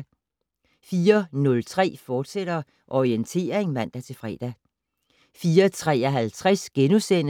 04:03: Orientering, fortsat (man-fre)